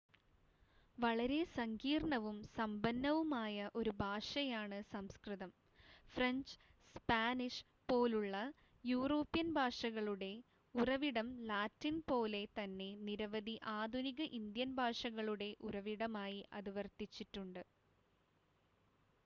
വളരെ സങ്കീർണ്ണവും സമ്പന്നവുമായ ഒരു ഭാഷയാണ് സംസ്കൃതം ഫ്രഞ്ച് സ്പാനിഷ് പോലുള്ള യൂറോപ്യൻ ഭാഷകളുടെ ഉറവിടം ലാറ്റിൻ പോലെ തന്നെ നിരവധി ആധുനിക ഇന്ത്യൻ ഭാഷകളുടെ ഉറവിടമായി അത് വർത്തിച്ചിട്ടുണ്ട്